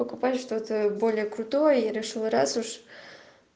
покупаешь что-то более крутое и решил раз уж